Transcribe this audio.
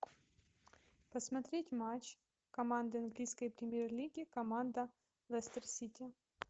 посмотреть матч команды английской премьер лиги команда лестер сити